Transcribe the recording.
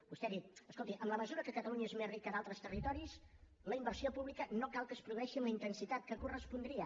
vostè ha dit escolti en la mesura que catalunya és més rica a d’altres territoris la inversió pública no cal que es produeixi amb la intensitat que correspondria